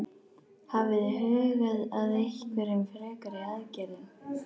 Hafið þið hugað að einhverjum frekari aðgerðum?